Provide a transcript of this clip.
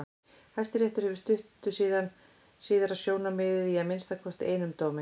Hæstiréttur hefur stutt síðara sjónarmiðið í að minnsta kosti einum dómi.